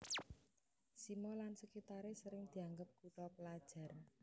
Simo lan sekitare sering dianggep kutha pelajar